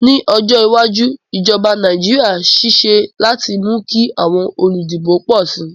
Ní ojó iwájú, ìjoba Naijiria sisé láti mú kí àwon olùdìbò pò si